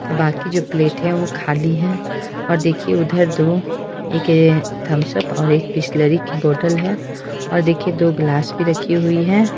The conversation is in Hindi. बाकी जो प्लेट है वो खाली है और देखिए उधर दो एक थमसब और बिसलेरी की बॉटल है और देखिए दो ग्लास भी रखी हुई है।